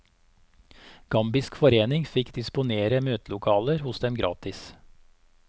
Gambisk forening fikk disponere møtelokaler hos dem gratis.